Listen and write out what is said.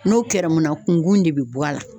N'o kɛrɛmu na kunkun de bi bɔ a la.